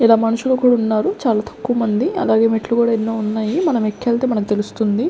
ఇలా మనుషులు కూడున్నారు చాలా తక్కువ మంది అలాగే మెట్లు కూడా ఎన్నో ఉన్నాయి మనం ఎక్కెళ్తే మనకు తెలుస్తుంది.